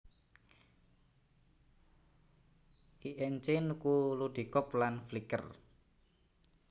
Inc nuku Ludicorp lan Flickr